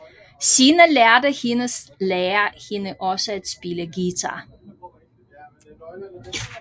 Senere lærte hendes lærer hende også at spille guitar